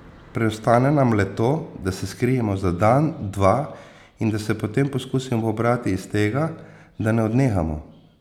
Preostane nam le to, da se skrijemo za dan, dva, in da se potem poskusimo pobrati iz tega, da ne odnehamo.